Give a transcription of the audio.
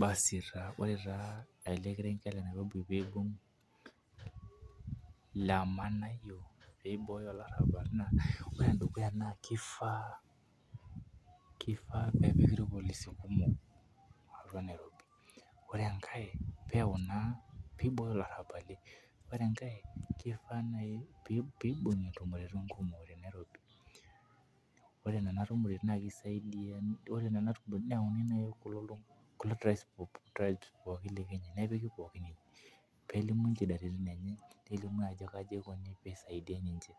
Basi taa ore taa ele kerenketble Nairobi peepuo aaman pee Ibooyo olarabal. Ore ene dukuya naa kifaa , ore enkae peyau Ina pee ibok ilarabali, ore enkae kenare naaji peesi ntumoritin. Ore Nena tumorotin naa kisaidia, neyauni naaji Kuna tribes pooki e Kenya nepiki pookin ine, peelimu nchidaritin, enye nelimu ajo kaji eilo pee isaidia ninche,